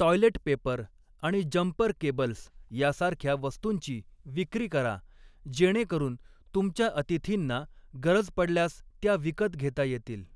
Toilet paper आणि jumper cables यासारख्या वस्तूंची विक्री करा, जेणेकरून तुमच्या अतिथींना गरज पडल्यास त्या विकत घेता येतील.